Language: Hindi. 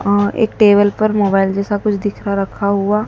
और एक टेबल पर मोबाइल जैसा कुछ दिख रहा रखा हुआ।